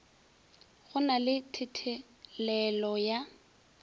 go na le thethelelo ya